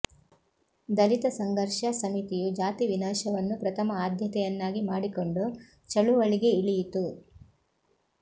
ದಲಿತ ಸಂಘರ್ಷ ಸಮಿತಿಯು ಜಾತಿ ವಿನಾಶವನ್ನು ಪ್ರಥಮ ಆದ್ಯತೆಯನ್ನಾಗಿ ಮಾಡಕೊಂಡು ಚಳುವಳಿಗೆ ಇಳಿಯಿತು